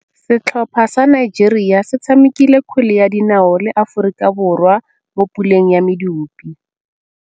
Setlhopha sa Nigeria se tshamekile kgwele ya dinaô le Aforika Borwa mo puleng ya medupe.